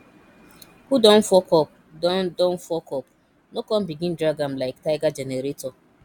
who don fuck up don don fuck up no con begin drag am lyk tiger generator